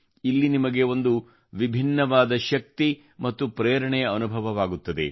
ಇಲ್ಲಿ ನಿಮಗೆ ಒಂದು ವಿಭಿನ್ನವಾದ ಶಕ್ತಿ ಮತ್ತು ಪ್ರೇರಣೆಯ ಅನುಭವವಾಗುತ್ತದೆ